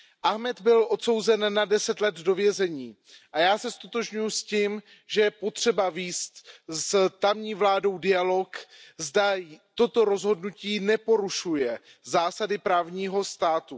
Ahmad byl odsouzen na 10 let do vězení a já se ztotožňuji s tím, že je potřeba vést s tamní vládou dialog, zda toto rozhodnutí neporušuje zásady právního státu.